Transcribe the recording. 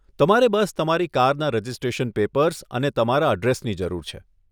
તમારે બસ તમારી કારના રજીસ્ટ્રેશન પેપર્સ અને તમારા અડ્રેસની જરૂર છે.